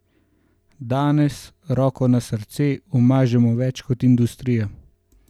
Danes, roko na srce, umažemo več kot industrija.